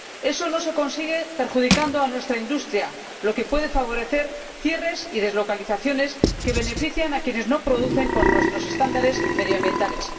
Eso no se consigue perjudicando a nuestra industria, lo que puede favorecer cierres y deslocalizaciones que benefician a quienes no producen con nuestros estándares medioambientales.